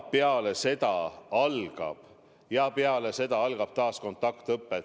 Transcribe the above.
Peale seda algab taas kontaktõpe.